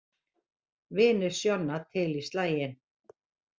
Vinir Sjonna til í slaginn